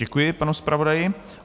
Děkuji panu zpravodaji.